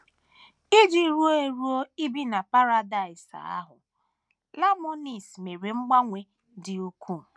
Iji ruo eruo ibi na Paradaịs ahụ, Laimonis mere mgbanwe dị ukwuu.